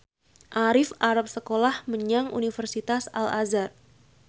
Arif arep sekolah menyang Universitas Al Azhar